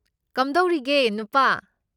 ꯀꯝꯗꯧꯔꯤꯒꯦ, ꯅꯨꯄꯥ?